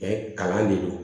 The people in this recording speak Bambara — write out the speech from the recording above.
kalan de don